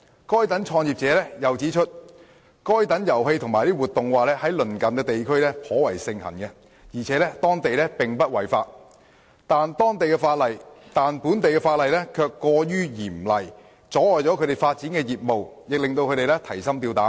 該等創業者又指出，該等遊戲和活動在鄰近地區頗為盛行而且在當地並不違法，但本地法例卻過於嚴厲，窒礙了他們發展業務，亦令他們提心吊膽。